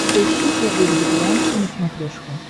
поищи первый вегетарианский на смотрешке